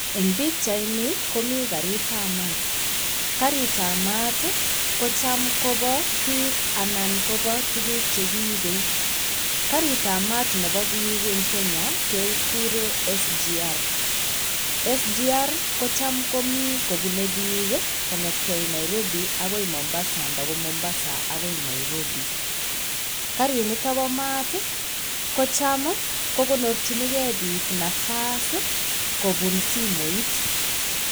Eng' pikchaini komii karitab maat. Karitab maat ko cham kobo biik anan kobotuguk che kiibei. Kaaritab maat nebo biik eng kenya kegure SGR. SGR kojam kobunei biik kong'etgei Narobi agi Mombasa nda ko Mombasa agoi Nairobi. Karit nito bo maat kacham kogonorchingei biik nafas kobun simooit.